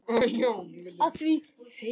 af því.